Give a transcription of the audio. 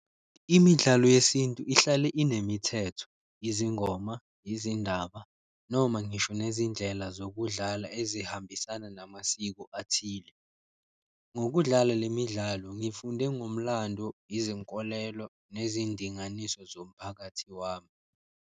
Imidlalo yesintu ihlale inemithetho, izingoma, izindaba noma ngisho nezindlela zokudlala ezihambisana namasiko athile. Ngokudlala le midlalo ngifunde ngomlando, izinkolelo nezindinganiso zomphakathi wami.